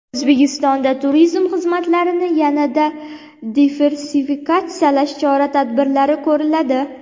O‘zbekistonda turizm xizmatlarini yanada diversifikatsiyalash chora-tadbirlari ko‘riladi.